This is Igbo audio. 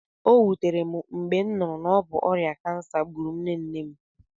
O wutere m mgbe m nụrụ na obu ọrịa kansa gburu nne nne m